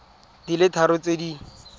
di le tharo tse di